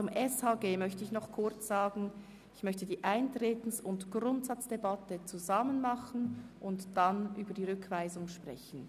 Zum Gesetz über die öffentliche Sozialhilfe (Sozialhilfegesetz, SHG): Ich möchte die Eintretens- und Grundsatzdebatte zusammen führen und danach über die Rückweisung sprechen.